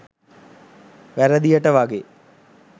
වැරදියට වගේ.